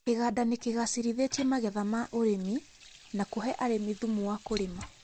Kĩganda nĩkĩgacĩrithĩtie magetha wa ũrĩmi na kũhe arĩmi thumu wa kũrĩma